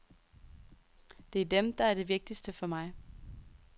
Det er dem, der er de vigtigste for mig.